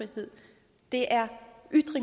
det er